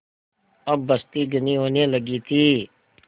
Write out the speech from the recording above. अब बस्ती घनी होने लगी थी